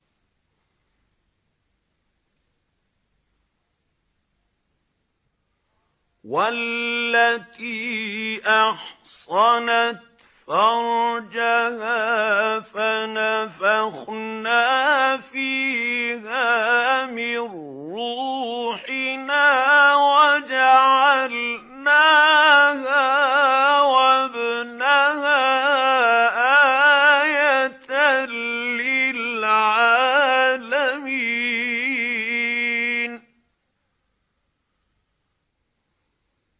وَالَّتِي أَحْصَنَتْ فَرْجَهَا فَنَفَخْنَا فِيهَا مِن رُّوحِنَا وَجَعَلْنَاهَا وَابْنَهَا آيَةً لِّلْعَالَمِينَ